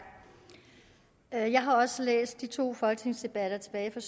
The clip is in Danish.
jeg jeg har også læst de to folketingsdebatter tilbage fra